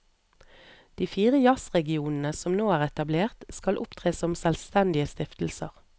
De fire jazzregionene som nå er etablert, skal opptre som selvstendige stiftelser.